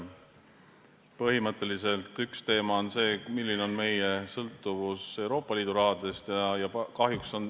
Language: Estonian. Põhimõtteliselt on üks teemasid see, milline on meie sõltuvus Euroopa Liidu rahast.